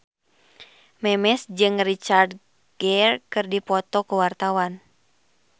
Memes jeung Richard Gere keur dipoto ku wartawan